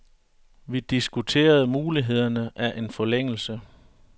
Vi diskuterede mulighederne af en forlængelse.